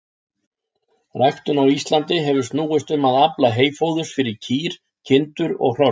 Ræktun á Íslandi hefur snúist um að afla heyfóðurs fyrir kýr, kindur og hross.